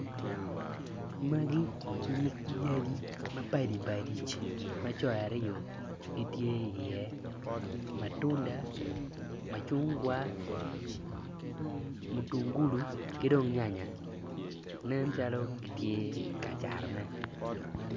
Magi nyig yadi mapadi padi ma jo aryo gitye i iye matunda macungwa mutungulu ki dong nyanya nen calo gitye ka catone